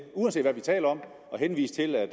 uanset hvad vi taler om at henvise til at